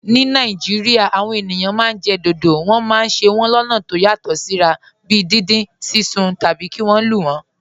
Ní Nàìjíríà, àwọn ènìyàn máa ń jẹ dodo. Wọ́n máa ń se wọ́n lọ́nà tó yàtọ̀ síra, bíi dindin, sísun, tàbí kí wọ́n lù wọ́n.